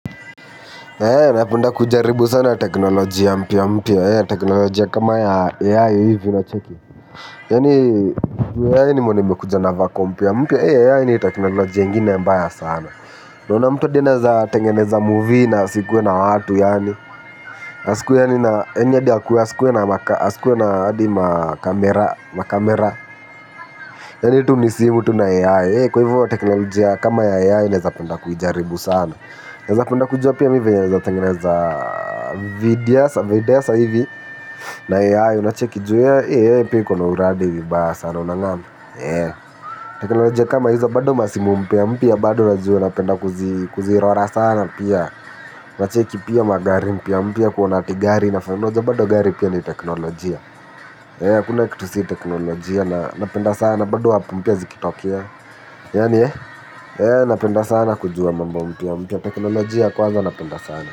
Napenda kujaribu sana teknolojia mpya mpya. Teknolojia kama ya AI hivi unacheki. Yaani AI nimeona imekuja na vako mpya mpya. AI ni teknolojia ingine mbaya sana. Unaona mtu hadi anaeza tengeneza movie na asikuwe na watu yaani asikuwe yaani na yaani hadi asikuwe na hadi ma camera. Yaani tu ni simu tu na AI. Hei kwa hivyo teknolojia kama ya AI naezapenda kuijaribu sana. Naependa kujua pia mimi venye naeza tengeneza videosa hivi. Na AI unacheki juu AI pia iko na uradi vibaya sana unang'amu? Teknolojia kama hizo bado masimu mpya mpya bado unajua napenda kuzirora sana pia. Unacheki pia magari mpya mpya kuona adi gari, unajua gari pia ni teknolojia. Hakuna kitu si teknolojia na napenda sana. Bado app mpya zikitokea. Yaani eh napenda sana kujua mambo mpya mpya. Teknolojia kwanza napenda sana.